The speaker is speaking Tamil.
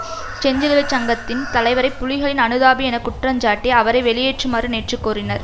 செஞ்சிலுவை சங்கத்தின் தலைவரை புலிகளின் அனுதாபி என குற்றஞ்சாட்டி அவரை வெளியேற்றுமாறு நேற்று கோரினர்